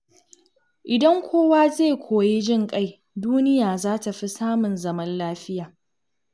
Idan kowa zai koyi jin ƙai, duniya za ta fi samun zaman lafiya.